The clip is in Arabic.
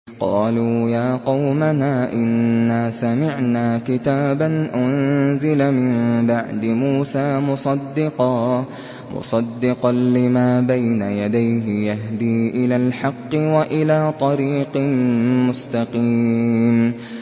قَالُوا يَا قَوْمَنَا إِنَّا سَمِعْنَا كِتَابًا أُنزِلَ مِن بَعْدِ مُوسَىٰ مُصَدِّقًا لِّمَا بَيْنَ يَدَيْهِ يَهْدِي إِلَى الْحَقِّ وَإِلَىٰ طَرِيقٍ مُّسْتَقِيمٍ